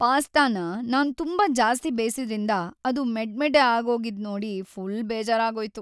ಪಾಸ್ಟಾನ ನಾನ್ ತುಂಬಾ ಜಾಸ್ತಿ ಬೇಯ್ಸಿದ್ರಿಂದ ಅದು ಮೆಡ್ಮೆಡ್ಡೆ ಆಗೋಗಿದ್ ನೋಡಿ ಫುಲ್‌ ಬೇಜಾರಾಗೋಯ್ತು.